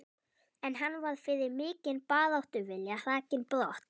En hann var fyrir mikinn baráttuvilja hrakinn brott.